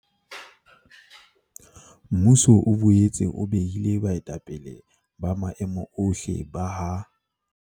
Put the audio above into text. Mmuso o boetse o behile baetapele ba maemo ohle ba ha